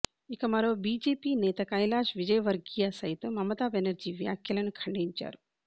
ఇక మరో బీజేపీ నేత కైలాశ్ విజయ్వర్గియా సైతం మమతా బెనర్జీ వ్యాఖ్యలను ఖండించారు